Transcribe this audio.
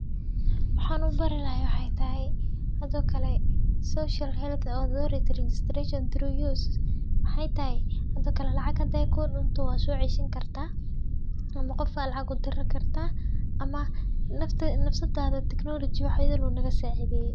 Waxaan u barri lahay waxay tahay hadoo kale Social Health Authority Registration through use. Waxaa tahay hadoo kale lacaga hade ku dhuntoo waa soo cayshin kartaa ama qofa lacaga dira kartaa Ama nafta, nafsataaada tignolajiya waxay uu naga saacideeyay.